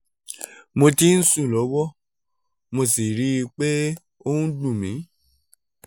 mo ti ń sùn lọ́wọ́ mo sì ń rí i pé ó ń dun mi